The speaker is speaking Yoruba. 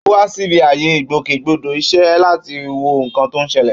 Ó wá síbi ààyè ìgbòkègbodò iṣẹ́ láti wo nǹkan tó ń ṣẹlẹ̀.